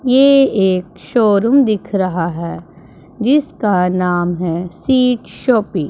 ये एक शोरूम दिख रहा है जिसका नाम है सीड शॉपिंग ।